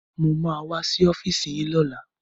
Mo ma wá sí ọ́fíìsì yín lọ́la